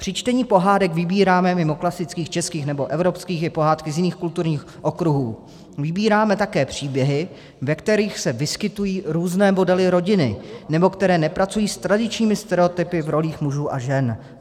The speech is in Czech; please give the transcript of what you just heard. Při čtení pohádek vybíráme mimo klasických českých nebo evropských i pohádky z jiných kulturních okruhů, vybíráme také příběhy, ve kterých se vyskytují různé modely rodiny, nebo které nepracují s tradičními stereotypy v rolích mužů a žen.